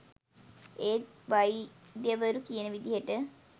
ඒත් වෛද්‍යවරු කියන විදිහට